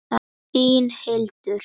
Þín, Hildur.